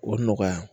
O nɔgɔya